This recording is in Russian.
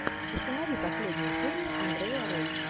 установи последнюю серию андрея рэй